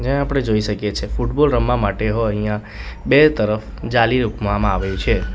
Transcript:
આપણે જોઈ શકીએ છે ફૂટબોલ રમવા માટે હો અહીંયા બે તરફ જાલી રોપવામાં આવી છે.